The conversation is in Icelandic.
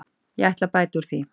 Ég ætla að bæta úr því